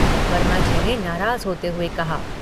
वर्माजी ने नाराज़ होते हुए कहा।